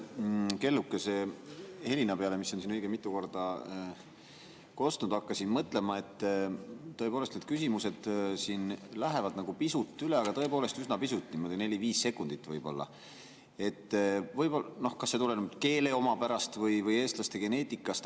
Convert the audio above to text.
Ma selle kellukesehelina peale, mis on siin õige mitu korda kostnud, hakkasin mõtlema, et küsimused lähevad nagu pisut üle, aga tõepoolest üsna pisut, niimoodi neli-viis sekundit võib-olla, tuleneb see siis keele omapärast või eestlaste geneetikast.